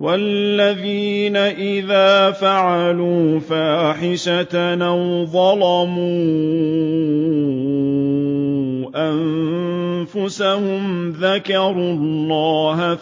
وَالَّذِينَ إِذَا فَعَلُوا فَاحِشَةً أَوْ ظَلَمُوا أَنفُسَهُمْ ذَكَرُوا اللَّهَ